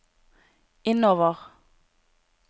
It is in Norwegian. innover